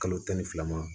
Kalo tan ni fila ma